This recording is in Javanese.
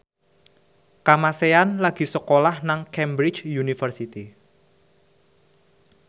Kamasean lagi sekolah nang Cambridge University